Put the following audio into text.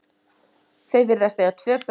Þau virðast eiga tvö börn.